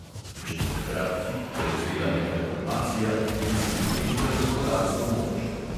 Če bi takrat hit prevzela neka grupacija, bi si pridobila gospodarsko moč.